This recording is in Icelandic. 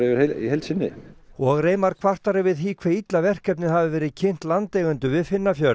í heild sinni og Reimar kvartar yfir því hve illa verkefnið hafi verið kynnt landeigendum við